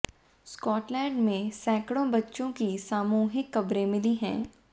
Scotland में सैकड़ों बच्चों की सामूहिक कब्रें मिली हैं